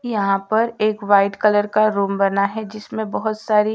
यहां पर एक व्हाइट कलर का रूम बना है जिसमें बहोत सारी--